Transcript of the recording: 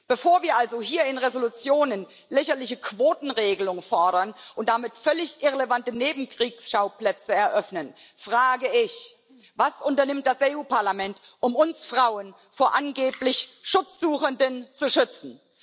Bevor wir also hier in Entschließungen lächerliche Quotenregelungen fordern und damit völlig irrelevante Nebenkriegsschauplätze eröffnen, frage ich Was unternimmt das EU Parlament, um uns Frauen vor angeblich Schutzsuchenden zu schützen?